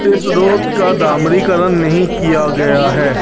इस रोट का डामरी करण नहीं किया गया है।